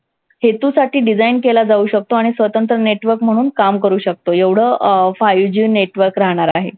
हेतूसाठी design केला जाऊ शकतो आणि स्वतंत्र network म्हणून काम करू शकतो. एवढं अं five G network राहणार आहे.